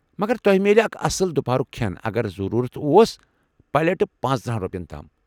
مگر تۄہہِ میلہِ اکھ اصٕل دُپہرُك کھٮ۪ن اگر ضروٗرت اوس پلیٹہٕ پنژتٕرہَن رۄپین تام۔